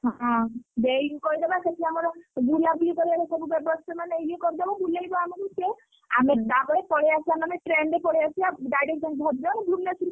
ହଁ ଦେଇକି କହିଦବା ସେଠି ଆମର ବୁଲାବୁଲି କରିଆର ସବୁ ବ୍ୟବସ୍ଥା ମାନେ ଇଏ କରିଦବ ବୁଲେଇବ ଆମକୁ ସିଏ ଆମେ ତାପରେ ପଳେଇଆସିବା ମାନେ train ରେ ପଳେଇଆସିଆ direct ଭଦ୍ରକ ଭୁବନେଶ୍ୱର।